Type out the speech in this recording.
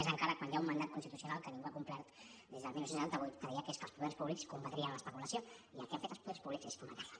més encara quan hi ha un mandat constitucional que ningú ha complert des del dinou setanta vuit que deia que és que els poders públics combatrien l’especulació i el que han fet els poders públics és fomentar la